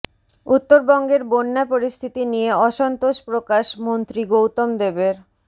উত্তরবঙ্গের বন্যা পরিস্থিতি নিয়ে অসন্তোষ প্রকাশ মন্ত্রী গৌতম দেবের